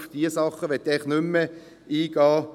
Darauf möchte ich nicht weiter eingehen.